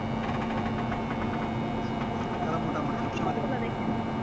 আর মোটামুটি আপনি কোন গুলা দেখেন